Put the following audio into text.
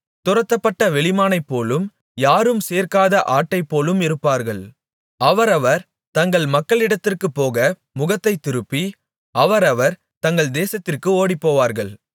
துரத்தப்பட்ட வெளிமானைப்போலும் யாரும் சேர்க்காத ஆட்டைப்போலும் இருப்பார்கள் அவரவர் தங்கள் மக்களிடத்திற்குப்போக முகத்தைத்திருப்பி அவரவர் தங்கள் தேசத்திற்கு ஓடிப்போவார்கள்